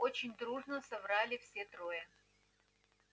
очень дружно соврали все трое